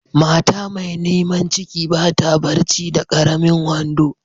Mata mai niman ciki ba ta barci da karemin wando.